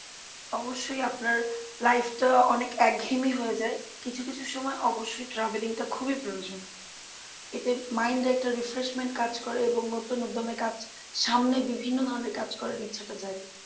অবশ্যই আপনার life টা অনেক একঘেয়েমি হয়ে যায় কিছু কিছু সময় travelling টা খুবই প্রয়োজন এতে mind এ একটা refreshment কাজ করে এবং নতুন উদ্যমে কাজ সামনে বিভিন্ন ধরনের কাজ করার ইচ্ছাটা জাগে